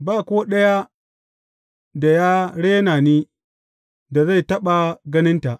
Ba ko ɗaya da ya rena ni, da zai taɓa ganinta.